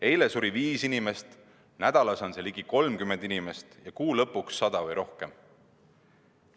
Eile suri viis inimest, nädalas sureb ligi 30 inimest ja kuu lõpuks 100 või rohkem.